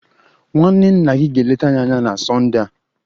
Nwanne nna gị ga-eleta anyị na Sonde a